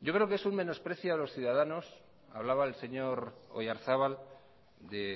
yo creo que es un menosprecio a los ciudadanos hablaba el señor oyarzabal de